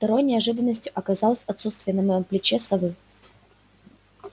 второй неожиданностью оказалось отсутствие на моем плече совы